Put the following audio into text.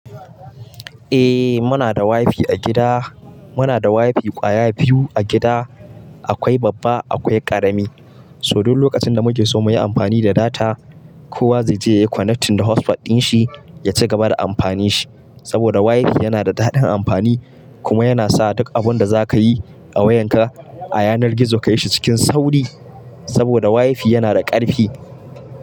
Eh muna da wifi a gida. Muna da wifi ƙwaya biyu a gida, akwai babba akwai ƙarami. So duk lokacin da muke so muyi amfani da data, kowa zai je yayi connecting da hotspot din shi ya ci gaba da amfanin shi. Saboda wifi yana da daɗin amfani kuma yana sa duk abun da za ka yi a wayan ka a yanar gizo ka yi shi cikin sauri. Saboda wifi yana da ƙarfi.